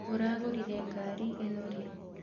Ũragũrire ngarĩ ĩno rĩ?